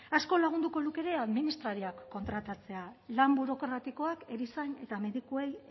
asko lagunduko luke ere administrariak kontratatzea lan burokratikoak erizain eta medikuei